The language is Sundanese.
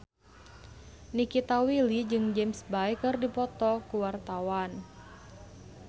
Nikita Willy jeung James Bay keur dipoto ku wartawan